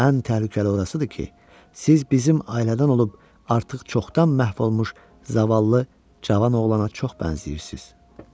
Ən təhlükəli orasıdır ki, siz bizim ailədən olub artıq çoxdan məhv olmuş zavallı cavan oğlana çox bənzəyirsiz.